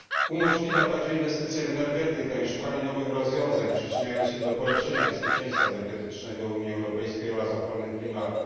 Umożliwiają także inwestycje w energetykę i szukanie nowych rozwiązań, przyczyniając się do zwiększenia bezpieczeństwa energetycznego Unii Europejskiej oraz ochrony klimatu.